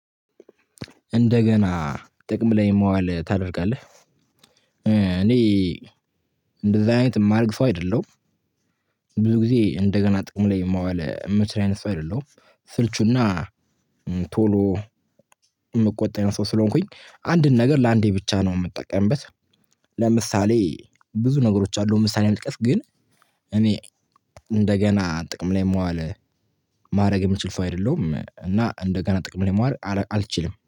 እንደገና ጥቅም ላይ የማዋል ታደርጋለህ እኔ እንደዚህ አይነት የማረግ ሰው አይደለሁም። ብዙ ጊዜ እንደገና ጥቅሙ ላይ የማዋል የምችል አይነት ሰው አይደለም። ስልቹና ቶሎ የምቆጣ አይነት ሰው ስለሆንኩኝ አንድን ነገር ለአንዴ ብቻ ነው የምጠቀምበት። ለምሳሌ ብዙ ነገሮች አሉ ምሳሌ ልጥቀስ። ግን እኔ እንደገና ጥቅም ላይ መዋል ማድረግ የምችል ሰው አይደለሁም። እና እንደገና ጥቅም ላይ ማዋል አልችልም